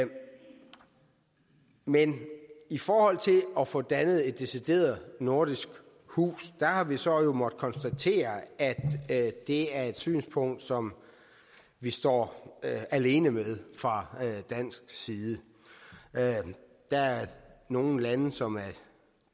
men men i forhold til at få dannet et decideret nordisk hus har vi så måttet konstatere at det er et synspunkt som vi står alene med fra dansk side der er nogle lande som er